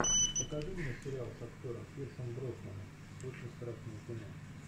покажи мне сериал с актером пирсом броснаном очень страшное кино